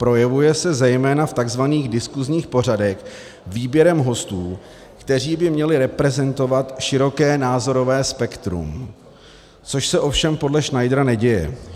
Projevuje se zejména v tzv. diskusních pořadech výběrem hostů, kteří by měli reprezentovat široké názorové spektrum, což se ovšem podle Schneidera neděje.